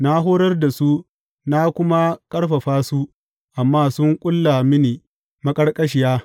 Na horar da su na kuma ƙarfafa su, amma sun ƙulla mini maƙarƙashiya.